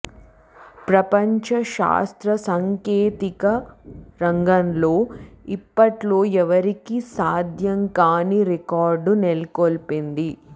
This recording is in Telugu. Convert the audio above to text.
ప్రపంచ శాస్త్ర సాంకేతిక రంగంలో ఇప్పట్లో ఎవరికీ సాధ్యంకాని రికార్డు నెలకొల్పింది